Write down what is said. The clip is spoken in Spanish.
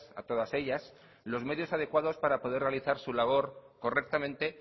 a todas ellas los medios adecuados para poder realizar su labor correctamente